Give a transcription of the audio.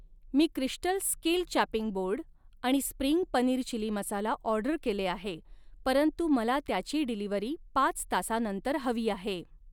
मी crystal skill chopping board आणि spring paneer chilli masala order केले आहे, परंतु मला त्याची डिलिवरी पाच तासानंतर हवी आहे